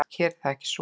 Hér er það ekki svo.